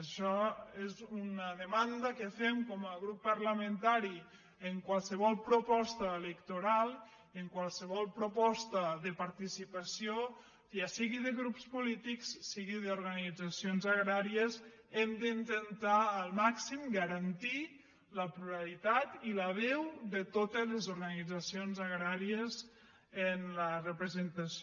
això és una de·manda que fem com a grup parlamentari en qualsevol proposta electoral i en qualsevol proposta de partici·pació ja sigui de grups polítics sigui d’organitzacions agràries hem d’intentar al màxim garantir la plurali·tat i la veu de totes les organitzacions agràries en la representació